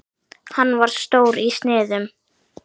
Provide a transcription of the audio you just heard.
Hann var stór í sniðum.